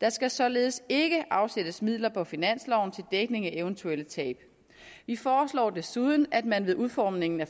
der skal således ikke afsættes midler på finansloven til dækning af eventuelle tab vi foreslår desuden at man ved udformningen af